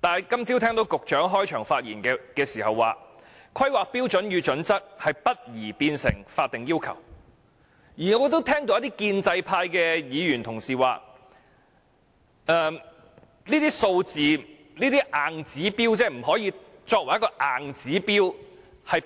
但是，我今早聽到局長在開場發言時表示，《規劃標準》不宜變成法定要求，而一些建制派議員亦提到，這些數字不可以作為硬指標，迫